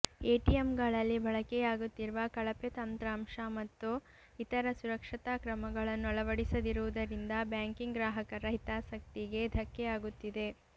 ಎಟಿಎಂಗಳಲ್ಲಿ ಬಳಕೆಯಾಗುತ್ತಿರುವ ಕಳಪೆ ತಂತ್ರಾಂಶ ಮತ್ತು ಇತರ ಸುರಕ್ಷತಾ ಕ್ರಮಗಳನ್ನು ಅಳವಡಿಸದಿರುವುದರಿಂದ ಬ್ಯಾಂಕಿಂಗ್ ಗ್ರಾಹಕರ ಹಿತಾಸಕ್ತಿಗೆ ಧಕ್ಕೆ ಆಗುತ್ತಿದೆ